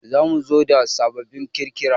Za mu zo da sababbin kirkira